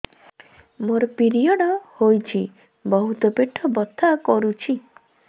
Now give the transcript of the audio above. ମୋର ପିରିଅଡ଼ ହୋଇଛି ବହୁତ ପେଟ ବଥା କରୁଛି